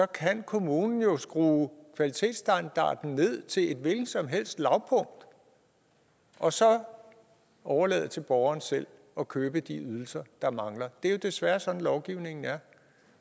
kan kommunen jo skrue kvalitetsstandarden ned til et hvilket som helst lavpunkt og så overlade til borgeren selv at købe de ydelser der mangler det er jo desværre sådan at lovgivningen er